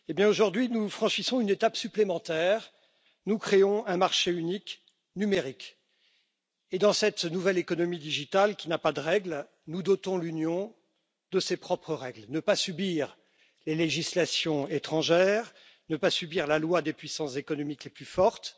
Aujourd'hui, nous franchissons une étape supplémentaire, nous créons un marché unique numérique et dans cette nouvelle économie numérique qui n'a pas de règles, nous dotons l'Union de ses propres règles ne pas subir les législations étrangères et ne pas subir la loi des puissances économiques les plus fortes.